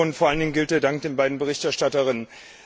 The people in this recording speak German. Vor allen Dingen gilt mein Dank den beiden Berichterstatterinnen.